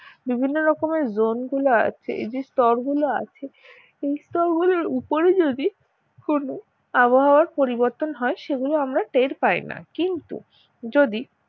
বিভিন্ন রকমের Zone গুলো আছে এই যে স্তর গুলো আছে এই স্তর গুলোর উপরে যদি কোনো আবহাওয়ার পরিবর্তন হয় সেগুলো আমরা টের পাই না কিন্তু যদি